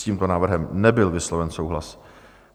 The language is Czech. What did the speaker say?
S tímto návrhem nebyl vysloven souhlas.